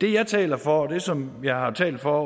det jeg taler for og det som jeg har talt for